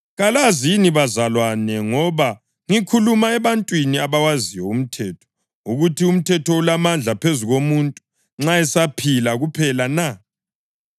Kalazi yini bazalwane, ngoba ngikhuluma ebantwini abawaziyo umthetho, ukuthi umthetho ulamandla phezu komuntu nxa esaphila kuphela na?